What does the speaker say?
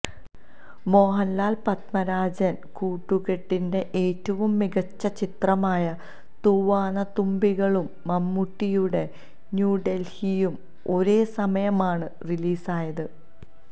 മോഹന്ലാല് പത്മരാജന് കൂട്ടുകെട്ടിന്റെ ഏറ്റവും മികച്ച ചിത്രമായ തൂവാനത്തുമ്പികളും മമ്മൂട്ടിയുടെ ന്യൂഡെല്ഹിയും ഒരേ സമയമാണ് റിലീസായത്